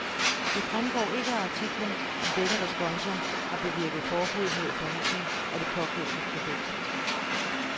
Det fremgår ikke af artiklen, om dette responsum har bevirket forbud mod forhandling af det pågældende produkt.